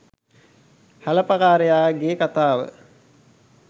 හැලපකාරයා ගේ කතාව